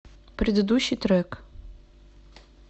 предыдущий трек